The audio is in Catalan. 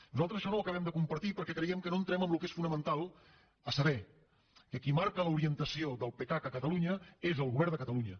nosaltres això no ho acabem de compartir perquè creiem que no entrem en el que és fonamental a saber qui marca l’orientació del pecac a catalunya és el govern de catalunya